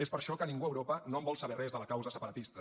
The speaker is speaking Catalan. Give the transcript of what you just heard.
és per això que ningú a europa no en vol saber res de la causa separatista